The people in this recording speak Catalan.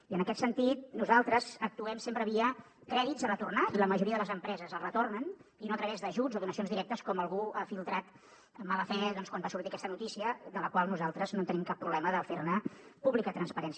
i en aquest sentit nosaltres actuem sempre via crèdits a retornar i la majoria de les empreses els retornen i no a través d’ajuts o donacions directes com algú ha filtrat amb mala fe doncs quan va sortir aquesta notícia de la qual nosaltres no tenim cap problema de fer ne pública transparència